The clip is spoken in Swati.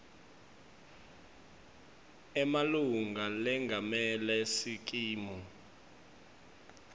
emalunga lengamele sikimu